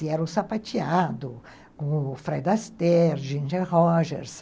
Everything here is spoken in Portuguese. E era o Sapateado, o Fred Astaire, Ginger Rogers.